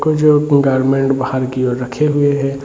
Garments बाहर की ओर रखे हुए हैं।